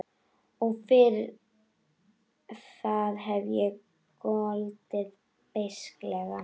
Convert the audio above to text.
Og fyrir það hef ég goldið beisklega.